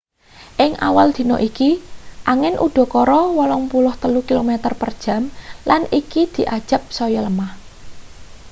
ing awal dina iki angin udakara 83 km/jam lan iki diajab saya lemah